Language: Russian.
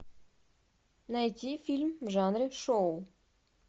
найди фильм в жанре шоу